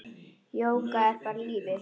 Jóga er bara lífið.